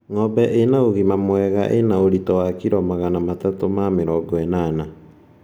Ng'ombe ĩna ũgima mwega ĩna ũritũ wa kilo magana matatũ ma mĩrongo inana